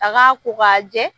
A k'a ko k'a jɛ